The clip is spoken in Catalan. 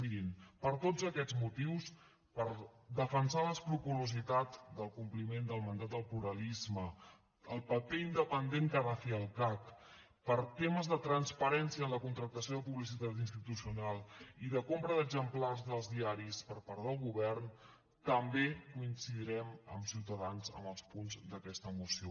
mirin per tots aquests motius per defensar l’escrupolositat del compliment del mandat del pluralisme el paper independent que ha de fer el cac per temes de transparència en la contractació de publicitat institucional i de compra d’exemplars dels diaris per part del govern també coincidirem amb ciutadans en els punts d’aquesta moció